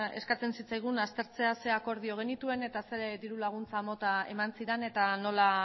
eskatzen zitzaigun aztertzea ze akordio genituen eta ze dirulaguntza mota eman ziren eta